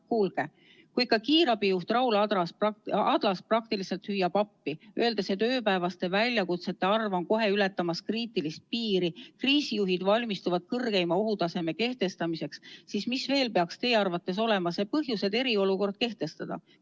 Kuulge, kui ikka kiirabi juht Raul Adlas praktiliselt hüüab appi, öeldes, et ööpäevaste väljakutsete arv on kohe ületamas kriitilist piiri, kriisijuhid valmistuvad kõrgeima ohutaseme kehtestamiseks, siis mis veel peaks teie arvates olema see põhjus, et eriolukord kehtestada?